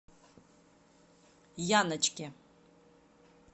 яночке